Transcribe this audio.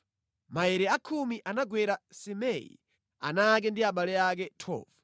Maere a khumi anagwera Simei, ana ake ndi abale ake. 12